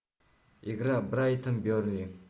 игра брайтон бернли